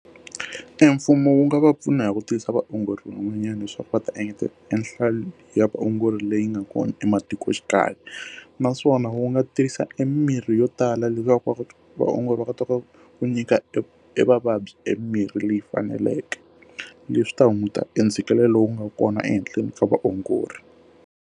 Emfumo wu nga va pfuna hi ku tiyisa vaongori rin'wanyana leswaku va ta engeta enhlayo ya vaongori leyi nga kona ematikoxikaya naswona wu nga tirhisa emirhi yo ku tala leswaku vaongori va ka to ka ku nyika e e vavabyi emirhi leyi faneleke leswi ta hunguta entsheketelelo lowu nga kona ehenhleni ka vaongori.